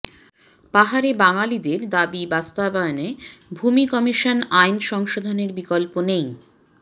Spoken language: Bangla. পাহাড়ে বাঙ্গালীদের দাবি বাস্তবায়নে ভূমি কমিশন আইন সংশোধনের বিকল্প নেই